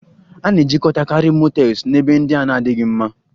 A na-ejikọtakarị motels na ebe ndị na-adịghị mma